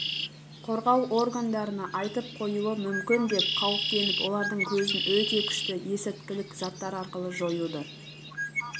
қорғау органдарына айтып қоюы мүмкін деп қауіптеніп олардың көзін өте күшті есірткілік заттар арқылы жоюды